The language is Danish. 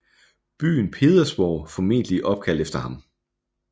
Byen Pedersborg formentlig opkaldt efter ham